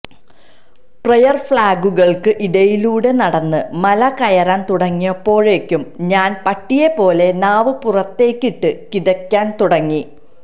prayer ഫ്ലാഗുകള്ക്ക് ഇടയിലൂടെ നടന്ന് മല കയറാന് തുടങ്ങിയപ്പോഴേക്കും ഞാന് പട്ടിയെ പോലെ നാവ് പുറത്തേക്കിട്ട് കിതയ്ക്കാന് തുടങ്ങി